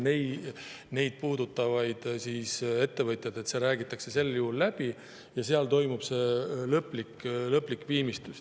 Nende ettevõtjatega, keda see puudutab, räägitakse see sel juhul läbi ja siis toimub see lõplik viimistlus.